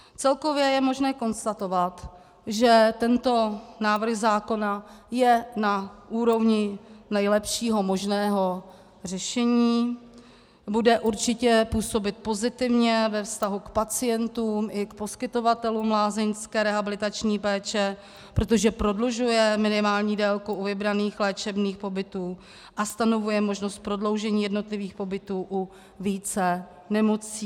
Celkově je možné konstatovat, že tento návrh zákona je na úrovni nejlepšího možného řešení, bude určitě působit pozitivně ve vztahu k pacientům i k poskytovatelům lázeňské rehabilitační péče, protože prodlužuje minimální délku u vybraných léčebných pobytů a stanovuje možnost prodloužení jednotlivých pobytů u více nemocí.